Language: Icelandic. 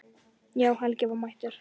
Já, Helgi var mættur.